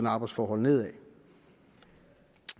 og arbejdsforhold nedad